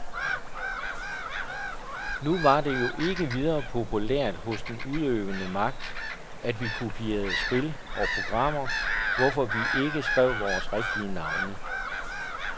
Nu var det jo ikke videre populært hos den udøvende magt, at vi kopierede spil og programmer, hvorfor vi jo ikke skrev vores rigtige navne.